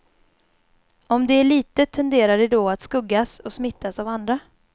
Om det är litet tenderar det då att skuggas och smittas av andra.